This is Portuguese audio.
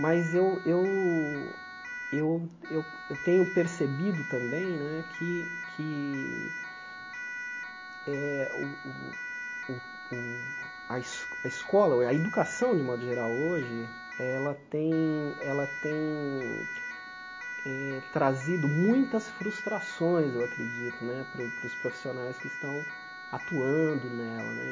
Mas eu eu eu eu tenho percebido também né que que eh o o o o a a escola, a educação, de modo geral, hoje, ela tem ela eh tem trazido muitas frustrações, eu acredito né, para os para os profissionais que estão atuando nela né.